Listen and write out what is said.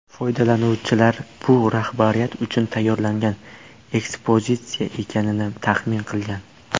Foydalanuvchilar bu rahbariyat uchun tayyorlangan ekspozitsiya ekanini taxmin qilgan.